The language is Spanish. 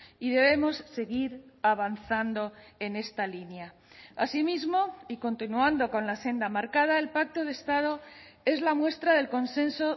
y debemos seguir avanzando en esta línea asimismo y continuando con la senda marcada el pacto de estado es la muestra del consenso